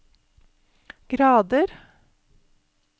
grader